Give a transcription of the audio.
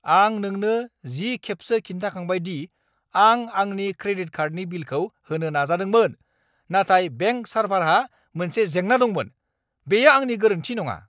आं नोंनो जि खेबसो खिन्थाखांबाय दि आं आंनि क्रेडिट कार्डनि बिलखौ होनो नाजादोंमोन नाथाय बेंक सार्भारहा मोनसे जेंना दंमोन। बेयो आंनि गोरोनथि नङा!